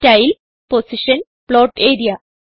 style position plot area